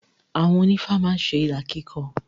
Àwọn onífá má ń ṣe ìlà kíkọ.